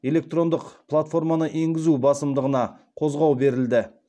электрондық платформаны енгізу басымдығына қозғау берілді